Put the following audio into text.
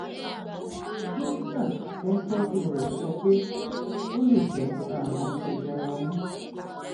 dókítà tó ń tọjú rẹ sọ pé ó lè jẹ ààrùn jẹjẹrẹ ọmú